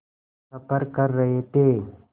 सफ़र कर रहे थे